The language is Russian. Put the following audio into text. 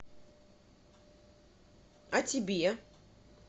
а тебе